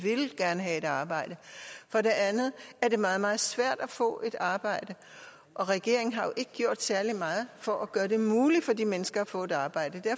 gerne have et arbejde for det andet er det meget meget svært at få et arbejde og regeringen har jo ikke gjort særlig meget for at gøre det muligt for de mennesker at få et arbejde